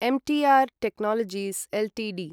M T R technologies Ltd